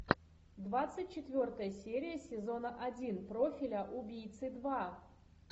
двадцать четвертая серия сезона один профиля убийцы два